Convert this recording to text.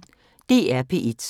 DR P1